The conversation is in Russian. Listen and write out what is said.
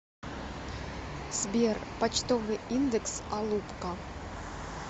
сбер почтовый индекс алупка